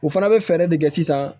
U fana bɛ fɛɛrɛ de kɛ sisan